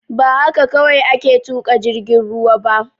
Ba haka kawai ake tuƙa jirgin ruwa ba